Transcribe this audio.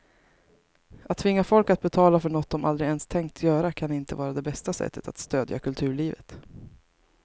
Att tvinga folk att betala för något de aldrig ens tänkt göra kan inte vara det bästa sättet att stödja kulturlivet.